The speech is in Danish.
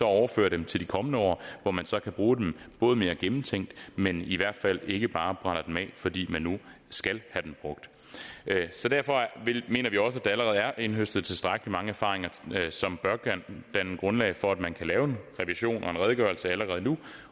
overfører dem til de kommende år hvor man så kan bruge dem både mere gennemtænkt men i hvert fald ikke bare brænder dem af fordi man nu skal have dem brugt derfor mener vi også at der allerede er indhøstet tilstrækkelig mange erfaringer som bør danne grundlag for at man kan lave en revision og en redegørelse allerede nu